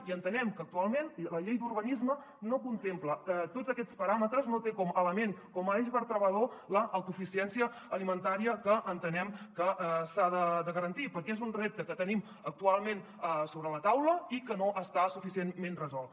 i entenem que actualment la llei d’urbanisme no contempla tots aquests paràmetres no té com a element com a eix vertebrador l’autosuficiència alimentària que entenem que s’ha de garantir perquè és un repte que tenim actualment sobre la taula i que no està suficientment resolt